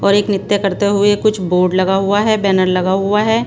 और एक नृत्य करते हुए कुछ बोर्ड लगा हुआ है बैनर लगा हुआ है।